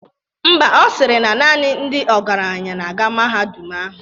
Ḿbà, Ọ sịrị na naanị ndị ọgaranya na-aga na mahadum ahụ.